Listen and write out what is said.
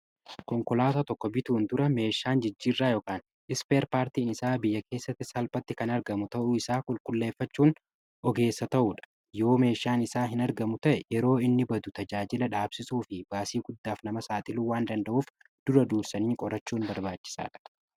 konkolaata tokko bituun dura meeshaan jijjirraa ispeer paartiin isaa biyya keessatti salphatti kan argamu ta'uu isaa qulqulleeffachuun ogeessa ta'uu dha. Yoo meeshaan isaa hin argamu ta'e yeroo inni badu tajaajila dhaabsisuu fi baasii guddaaf nama saaxiluu waan danda'uuf dura duursanii qorachuun barbaachisaadha.